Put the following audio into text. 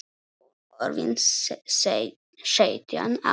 Hún orðin sautján ára.